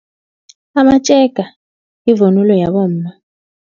Amatjega yivunulo yabomma.